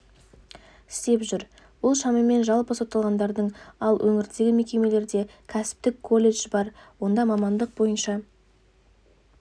істеп жүр бұл шамамен жалпы сотталғандардың ал өңірдегі мекемелерде кәсіптік колледж бар онда мамандық бойынша